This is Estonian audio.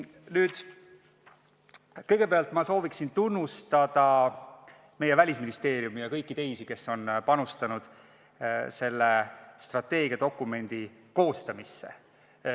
Aga kõigepealt ma soovin tunnustada meie Välisministeeriumi ja kõiki teisi, kes on panustanud selle strateegiadokumendi koostamisse.